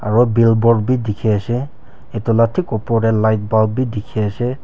aru billboard bi dikhi ase etu la thik oper te lightbulb bi dikhi ase.